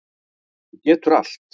Þú getur allt.